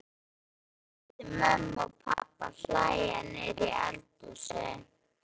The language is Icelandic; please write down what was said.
Hún heyrði mömmu og pabba hlæja niðri í eldhúsi.